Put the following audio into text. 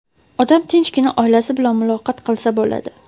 odam tinchgina oilasi bilan muloqot qilsa bo‘ladi.